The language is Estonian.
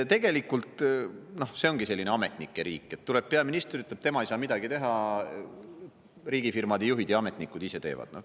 Tegelikult see ongi selline ametnike riik, kui tuleb peaminister ja ütleb, et tema ei saa midagi teha, riigifirmade juhid ja ametnikud ise teevad.